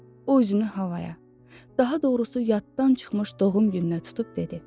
O üzünü havaya, daha doğrusu yaddan çıxmış doğum gününə tutub dedi: